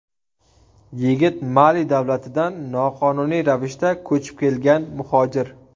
Yigit Mali davlatidan noqonuniy ravishda ko‘chib kelgan muhojir.